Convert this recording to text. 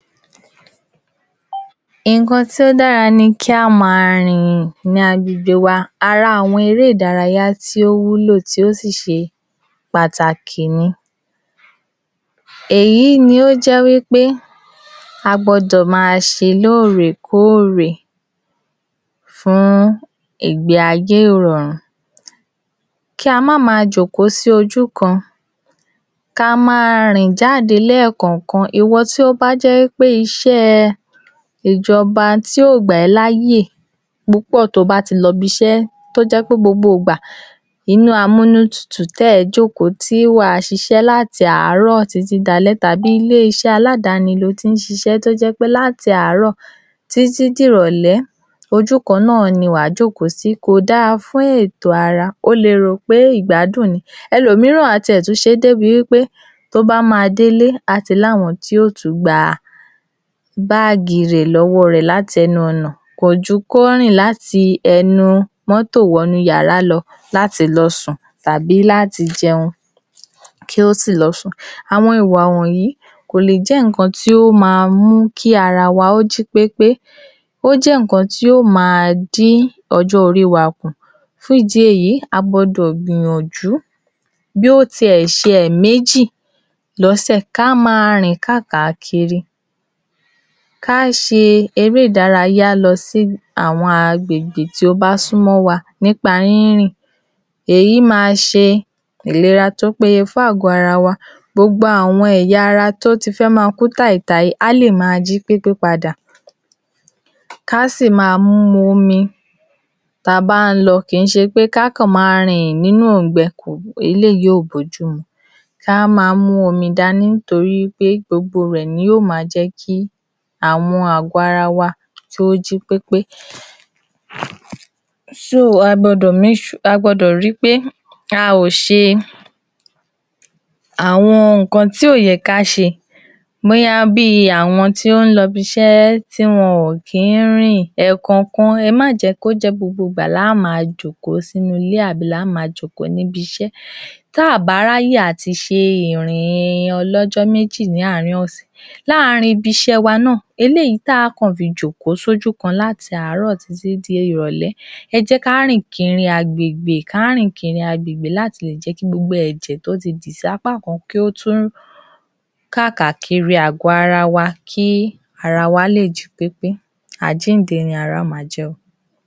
A tún sọ̀rọ̀ nípa ara wa náà si ni. A ò gbọdọ̀ gbàgbé ara wa, kò sí nǹkankínǹkan tí a ò bá máa ṣe, bóyá a jẹ́ elétò ìlera ni o, à ń ṣiṣẹ́ẹ ìjọba ni o, nípa à ń ṣolùkọ́, à ń ṣakẹ́kọ̀ọ́, nǹkankinǹkan tí à bá máa ṣe, a ò gbodò gbàgbé ara wa, lóòótọ́ ni wọ́n wí pé “Ní ìfẹ́ ọmọlàkejì rẹ gẹ́gẹ́ bí araà rẹ,” ìwọ tí o ò bá ṣètọ́jú araà rẹ báwo lo ṣe fẹ́ ṣètọ́jú ọmọlàkejì? Fún ìdí èyí, ẹ jẹ́ ká tẹ̀lé ọ̀rọ̀ náà tó wí pé “Fẹ́ràn ar- “Fẹ́ràn ọmọnìkejì rẹ̀ gẹ́gẹ́ bí ara rẹ̀”, ìwọ̀ tí o bá fẹ́ràn araà rẹ ni wà lé è fẹ́ràn ọmọnìkejì e̩ Ẹ jẹ́ ká máa ri pé a ò gbàgbé ara wa lóòrèkóòrè, ká a tọ́jú ara wa dáadáa, kí a jẹun tó dára, ká a wo̩s̩o̩ tó dára, ká a sun oorun tó dára, ká a s̩e gbogbo nǹkan tó ye̩ ká s̩e lasiko tó ye̩ ká s̩e é. Àwo̩n nǹkan tó dáa fún ara wa, kí a máa e fún ara wa, nítorí wí pé ìlera lo̩rò̩. Tí a bá ní àlààf́ià là á le s̩e ìké̩ àti ìgè̩ fún àwo̩n tí ó bá wà ní agbègbè wa. Kó ń s̩e wí pé kí o fara re̩ sílè̩ lágbájá ara è̩ ò yá, ìwo̩ náà ara e̩ ò yá á wá, ara tiè̩ tí o yà tiè̩ tún ju ti lágbájá lo̩, s̩ùgbó̩n o wò pé, ah! Mi ò gbo̩dò̩ fi lágbájáá lè̩, o kira mó̩lè̩ o lo̩ síbè̩, tíwo̩ bá débè̩ tó lo̩ dákú sórùn lágbája, lágbája gan-an á so̩ fún e̩ pé ah mi o mà rán e̩, ó ye̩ kíwo̩ náà tó̩jú araà e̩ kí o tó wá. So, fún ìdí èyí, e̩ má jé̩ ká di aláìsàn tàbí kí á so̩ ara wa di e̩ni tí àwo̩n ènìyàn ń wò pé àh, àbí ara rè̩ ò yá ni? Àbí o̩po̩lo̩ rè̩ ti dàrú ni? E̩ má jé̩ ká so̩ra wa dirú nǹkan bé̩è̩. E̩ jé̩ ká nífè̩é̩ ara wa, gbogbo nǹkankínǹkan tí ò bá wù ká s̩e, e̩ má jè̩ á gbàgbé ara wa, ká a rí pé gbogbo ìgbàkíìgbà, ibikíbi tí a bá wà à ń rántí láti s̩e ìké̩ àti ìgè araa wa nítorí wí pé, tí a bá ní àlàáfíà ni a lè s̩e ètò tó ó tó̩ àti tó péye fún àwo̩n tí ó bá wá bá wa fún ìwòsàn. Fún ìdí èyí, ìlera lo̩rò̩. A ò gbo̩dò̩ jé̩ kí àlàáfíà tiwa kí ó mé̩he̩ láti máa s̩e àlàáfịa fún àwo̩n èèyàn agbègbè wa.